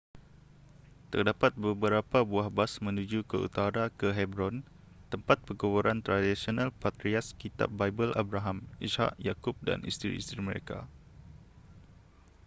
terdapat beberapa buah bas menuju ke utara ke hebron tempat perkuburan tradisional patriarch kitab bible abraham ishak yakub dan isteri-isteri mereka